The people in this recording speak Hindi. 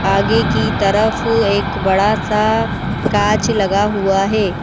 आगे की तरफ एक बड़ा सा काच लगा हुआ है।